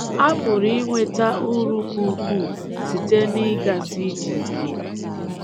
A pụrụ inweta uru ka ukwuu site n’ịgasi ije ike.